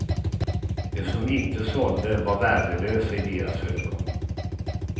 De som inte sålde var värdelösa i deras ögon.